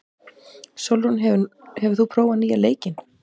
Sólrún, hefur þú prófað nýja leikinn?